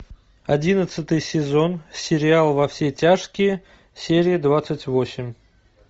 одиннадцатый сезон сериал во все тяжкие серия двадцать восемь